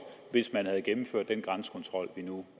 hvis man havde gennemført den grænsekontrol vi nu